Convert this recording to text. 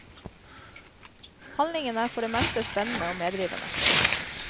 Handlingen er for det meste spennende og medrivende.